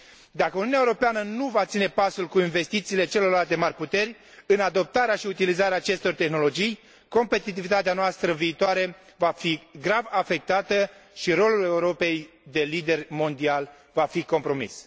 Dacă Uniunea Europeană nu va ține pasul cu investițiile celorlalte mari puteri în adoptarea și utilizarea acestor tehnologii, competitivitatea noastră viitoare va fi grav afectată și rolul Europei de lider mondial va fi compromis.